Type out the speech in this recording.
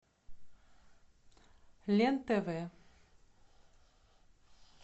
лен тв